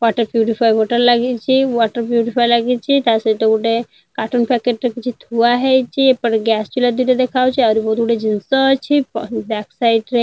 Water purifier ଗୋଟେ ଲାଗିଚେ। Water purifier ଲାଗିଚେ। ତା ସହିତ ଗୋଟେ କାର୍ଟୁନ୍ ପ୍ୟାକେଟ ଟେ ଏଠି ଥୁଆ ହେଇଛି। ଏପେଟ ଗ୍ୟାସ ଚୁଲା ଦେଖା ହଉଛି। ଆହୁରି ବହୁତ୍ ଗୁଡିଏ ଜିନିଷ ଅଛି। ବ୍ୟକ୍ ସାଇଡ ରେ ଆହୁରି ବହୁତ୍ ଜିନିଷ ଅଛି।